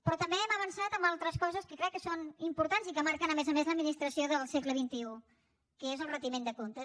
però també hem avançat en altres coses que crec que són importants i que marquen a més a més l’administració del segle xxi que és el retiment de comptes